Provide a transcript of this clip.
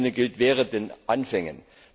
Also in diesem Sinne gilt Wehret den Anfängen!